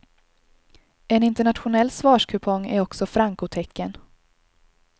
En internationell svarskupong är också frankotecken.